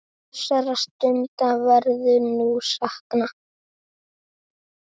Þessara stunda verður nú saknað.